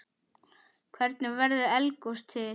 Hvernig verður eldgos til?